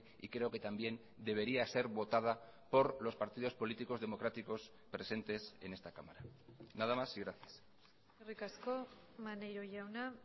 y creo que también debería ser votada por los partidos políticos democráticos presentes en esta cámara nada más y gracias eskerrik asko maneiro jauna